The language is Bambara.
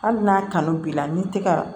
Hali n'a kanu b'i la n'i tɛ ka